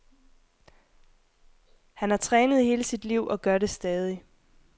Han har trænet i hele sit liv og gør det stadig.